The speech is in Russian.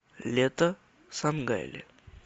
лето сангайле